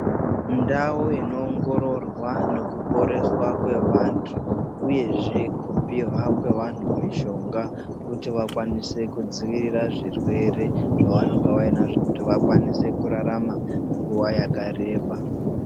Ndau inoongororwa nekuponeswa kwevantu uyezve kupihwa kwevanhu mishonga kuti vakwanise kudziirirwa zvirwere zvavanenge vainazvo kuti vakwanise kurarama nguwa yakareba .